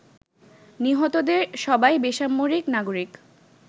নিহতদের সবাই বেসামরিক নাগরিক।